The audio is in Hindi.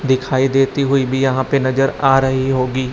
दिखाई देती हुई भी यहां पे नजर आ रही होगी।